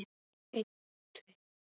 Hvað á að gera við gamla fólkið?